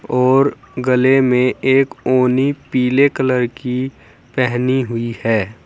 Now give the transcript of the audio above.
और गले में एक ओढ़नी पीले कलर की पहनी हुई है।